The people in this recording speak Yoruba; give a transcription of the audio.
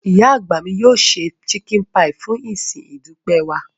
Ìyá àgbà mi yóò se chicken pie fún ìsìn ìdúpẹ́ wa.